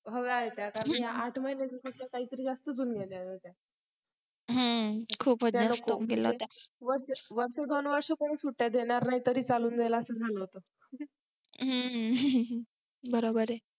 होय आणि त्या आठ महिन्याच्या सुट्ट्या काहीतर जास्त लागल्या होत्या खूपच जास्त सुट्ट्या दिल्या होत्या वर्ष दोन वर्ष कोणी सुट्ट्या देणार नाही तरी चालून जाईल असा असा झालं होत हं बरोबर आहे